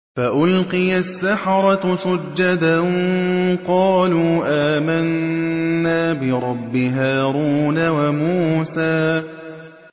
فَأُلْقِيَ السَّحَرَةُ سُجَّدًا قَالُوا آمَنَّا بِرَبِّ هَارُونَ وَمُوسَىٰ